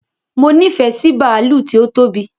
Mo nifẹ sí bàálù tí ó tóbi